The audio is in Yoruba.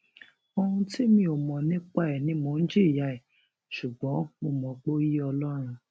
ohun tí mi ò mọ nípa ẹ ni mò ń jìyà ẹ ṣùgbọn mo mọ pé ó yé ọlọrun